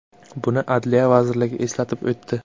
Buni Adliya vazirligi eslatib o‘tdi .